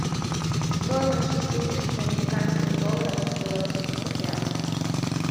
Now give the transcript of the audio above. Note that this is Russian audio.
стоимость шестидесяти американских долларов в белорусских рублях